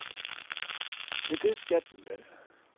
Men det skal den vel.